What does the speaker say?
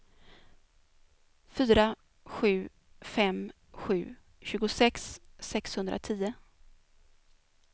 fyra sju fem sju tjugosex sexhundratio